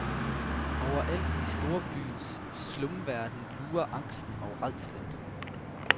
Overalt i storbyens slumverden lurer angsten og rædslen.